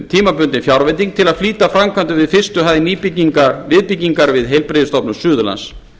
tímabundin fjárveiting til að flýta framkvæmdum við fyrstu hæð viðbyggingar við heilbrigðisstofnun suðurlands